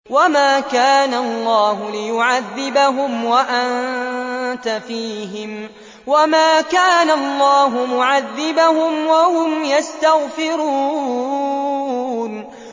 وَمَا كَانَ اللَّهُ لِيُعَذِّبَهُمْ وَأَنتَ فِيهِمْ ۚ وَمَا كَانَ اللَّهُ مُعَذِّبَهُمْ وَهُمْ يَسْتَغْفِرُونَ